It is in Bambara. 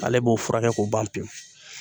Ale b'o furakɛ k'o ban pewu